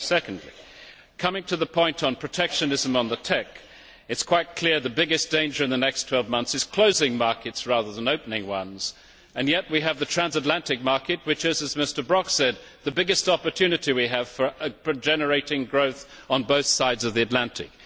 Secondly, regarding the point on protectionism on the TEC, it is quite clear that the biggest danger in the next 12 months is closing markets rather than opening ones, and yet we have the transatlantic market which is, as Mr Brok said, the biggest opportunity we have for generating growth on both sides of the Atlantic.